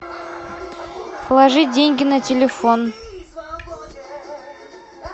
положить деньги на телефон